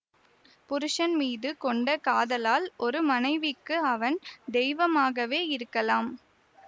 புருஷன் மீது கொண்ட காதலால் ஒரு மனைவிக்கு அவன் தெய்வமாகவே இருக்கலாம்